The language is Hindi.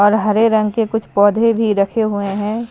और हरे रंग के कुछ पौधे भी रखे हुए हैं।